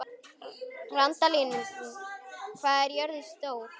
Randalín, hvað er jörðin stór?